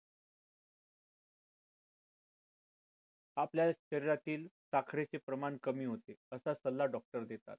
आपल्या शरीरातील साखरे चे प्रमाण कमी होते, असा सल्ला doctor देतात